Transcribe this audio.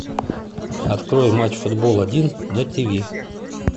открой матч футбол один на тв